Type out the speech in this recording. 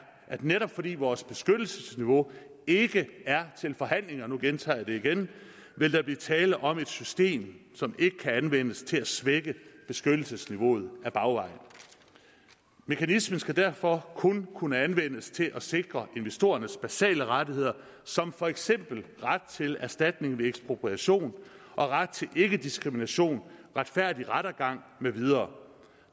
at netop fordi vores beskyttelsesniveau ikke er til forhandling og nu gentager jeg det igen vil der blive tale om et system som ikke kan anvendes til at svække beskyttelsesniveauet ad bagvejen mekanismen skal derfor kun kunne anvendes til at sikre investorernes basale rettigheder som for eksempel ret til erstatning ved ekspropriation og ret til ikkediskrimination retfærdig rettergang med videre